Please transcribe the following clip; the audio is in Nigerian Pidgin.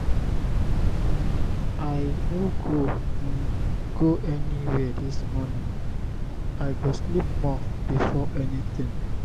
um i no go um go anywhere dis morning. i go sleep more before anything.